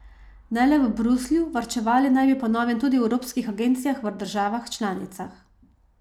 Ne le v Bruslju, varčevali naj bi po novem tudi v evropskih agencijah v državah članicah.